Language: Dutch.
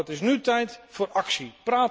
Maar het is nu tijd voor actie.